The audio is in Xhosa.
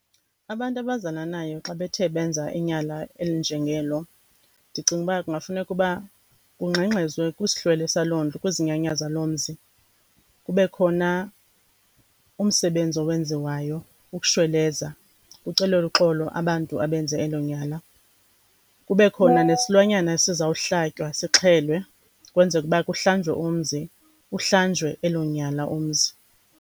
Abantu abazalanayo xa bethe benza inyala elinjengelo ndicinga uba kungafuneka uba kungxengxezwe kwisihlwele saloo ndlu, kwizinyanya zaloo mzi. Kube khona umsebenzi owenziwayo ukushweleza, kucelelwe uxolo abantu abenze elo nyala, kube khona nesilwanyana esizawuhlatywa sixhelwe kwenzeke ukuba kuhlanjwe umzi, kuhlanjwe elo nyala omzi.